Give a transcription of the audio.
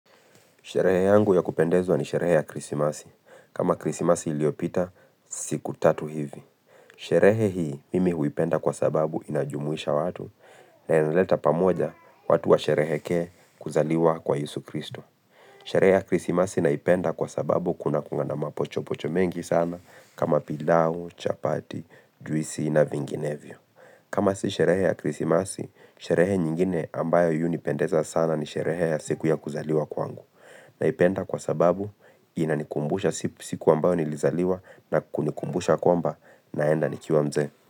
Sherehe yangu ya kupendeza ni sherehe ya krisimasi. Kama krisimasi iliyopita siku tatu hivi. Sherehe hii mimi huipenda kwa sababu inajumuisha watu na inaleta pamoja watu washerehekee kuzaliwa kwa Yesu Kristo. Sherehe ya krisimasi naipenda kwa sababu kuna kuanga na mapochopocho mengi sana kama pilau, chapati, juisi na vinginevyo. Kama si sherehe ya krisimasi, sherehe nyingine ambayo hunipendeza sana ni sherehe ya siku ya kuzaliwa kwangu. Naipenda kwa sababu inanikumbusha siku ambayo nilizaliwa na kunikumbusha kwamba naenda nikiwa mzee.